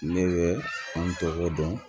Ne bɛ an tɔgɔ dɔn